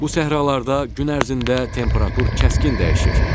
Bu səhralarda gün ərzində temperatur kəskin dəyişir.